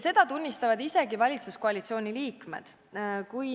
Seda tunnistavad isegi valitsuskoalitsiooni liikmed.